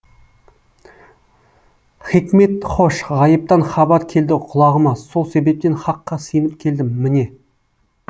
хикмет хош ғайыптан хабар келді құлағыма сол себептен хаққа сиынып келдім міне